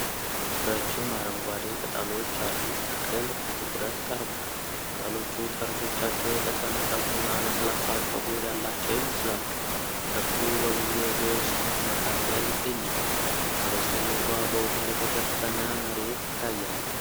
ረጅም አረንጓዴ ቅጠሎች ያሉት ተክል በትኩረት ቀርቧል። ቅጠሎቹ ጠርዞቻቸው የተሰነጠቁና ለስላሳ ፀጉር ያላቸው ይመስላሉ። ተክሉ በብዙ የዱር ሳር መካከል ይገኛል፤ ከበስተጀርባ በውሃ የተሸፈነ መሬት ይታያል።